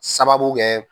Sababu kɛ